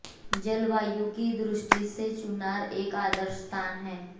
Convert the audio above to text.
जलवायु की दृष्टि से चुनार एक आदर्श स्थान है